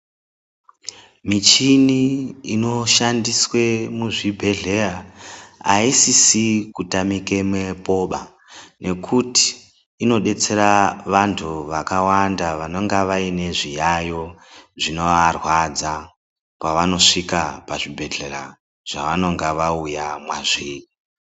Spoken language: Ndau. Michini inoshandiswa muzvibhedhlera aisisi kutamikamwo ngekuti inodetsera vantu vakawanda vanenge vane zviyaiyo zvinovarwadza pavanosvika pazvibhedhlera zvavanenge vauya mwazviri